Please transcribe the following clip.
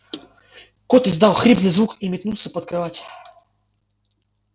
кот издал хриплый звук и метнулся под кровать